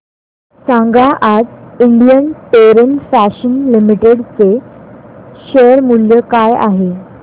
सांगा आज Indian terrain fashions limited चे शेअर मूल्य काय आहे